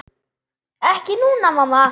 Ekki núna, mamma.